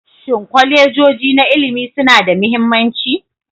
Shin kolejoji na ilimi suna da mahimmanci?